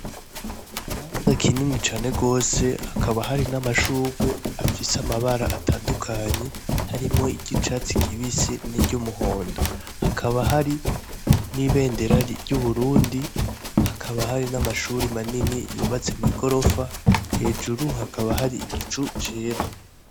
Ikibanza kinini cane gose hakaba hari n'amashurwe afise amabara atandukanye harimwo iryicatsi kibisi n'iryumuhondo. hakaba hari n'ibendera ry'Uburundi , hakaba hari namashuri manini yubatse mw'igorofa , hejuru hakaba hari igicu cera